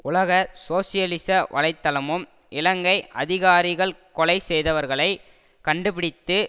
உலக சோசியலிச வலை தளமும் இலங்கை அதிகாரிகள் கொலை செய்தவர்களை கண்டுபிடித்து